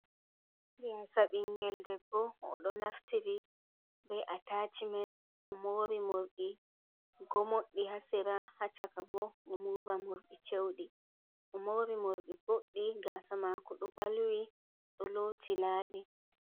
Gasa ɓingel debbo o ɗo naftiri be atacimen o mori morɗi gomoɗɗi hasera, haccaka bo o mori morɗi cewɗi o mori morɗi boɗɗi gasa mako ɗo ɓalwi ɗo loti labi.